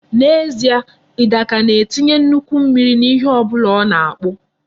N'ezie, Idika na-etinye nnukwu mmiri n'ihe ọ bụla ọ na-akpụ.